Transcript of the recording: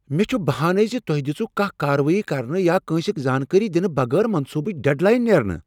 مےٚ چھہٕ بہانٕے ز تۄہہ دژوٕ کانٛہہ کاروٲیی کرنہٕ یا کٲنٛسہ زانٛکٲری دنہٕ بغٲر منصوٗبٕچ ڈیڈ لاین نیرنہٕ۔